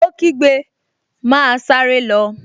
Ó kígbe, 'Máa sáré lọ!